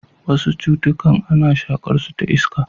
Wasu cutukan ana shaƙarsu ta iska.